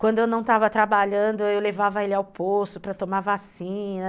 Quando eu não estava trabalhando, eu levava ele ao posto para tomar vacina.